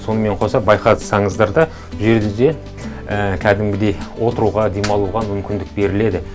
сонымен қоса байқасаңыздар да бұл жерде кәдімгідей отыруға демалуға мүмкіндік беріледі